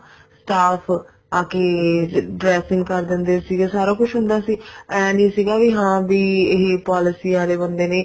staff ਆ ਕੇ dressing ਕਰ ਦਿੰਦੇ ਸੀ ਸਾਰਾ ਕੁਛ ਹੁੰਦਾ ਸੀ ਏਂ ਨੀ ਸੀਗਾ ਵੀ ਹਾਂ ਵੀ ਇਹ policy ਆਲੇ ਬੰਦੇ ਨੇ